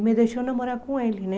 E me deixou namorar com ele, né?